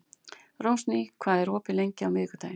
Rósný, hvað er opið lengi á miðvikudaginn?